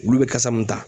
Olu bɛ kasa mun ta